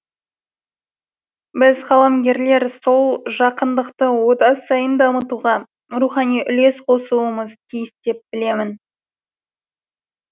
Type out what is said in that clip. біз қаламгерлер сол жақындықты одан сайын дамытуға рухани үлес қосуымыз тиіс деп білемін